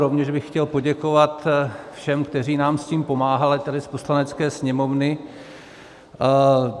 Rovněž bych chtěl poděkovat všem, kteří nám s tím pomáhali tady z Poslanecké sněmovny.